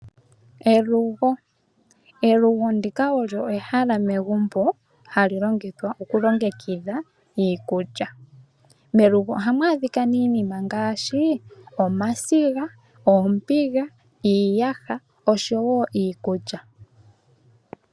Elugo olyo ehala megumbo hali longithwa okulongekidh iikulya . Melugo ohamu adhika iinima ngaashi omasiga, oombiga , iiyaha oshowoo iikulya.